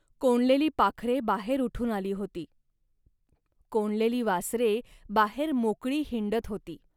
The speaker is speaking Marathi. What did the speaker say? कोंडलेली पाखरे बाहेर उठून आली होती. कोंडलेली वासरे बाहेर मोकळी हिंडत होती